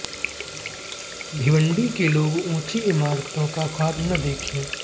भिवंडी के लोग ऊंची इमारतों का ख्वाब न देखें